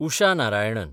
Usha Narayanan